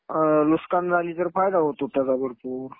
नुकसान झाली तर फायदा होतो त्याचा भरपूर.